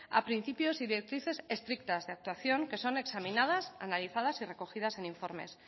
a principios y directrices estrictas de actuación que son examinadas analizadas y recogidas en informes